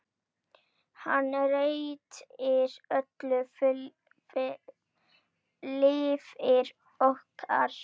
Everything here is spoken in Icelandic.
Hann breytir öllu lífi okkar.